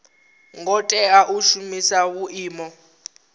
ngo tea u shumisa vhuimo